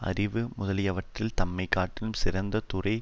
அறிவு முதலியவற்றில் தம்மை காட்டிலும் சிறந்த துறை